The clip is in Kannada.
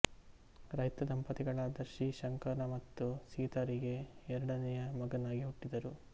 ರೈತ ದಂಪತಿಗಳಾದ ಶ್ರೀ ಶಂಕರ ಮತ್ತು ಸೀತಾರಿಗೆ ಎರಡನೆಯ ಮಗನಾಗಿ ಹುಟ್ಟಿದರು